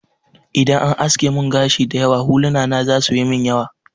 Idan an aske mun gashi dayawa, huluna na za su yimin yawa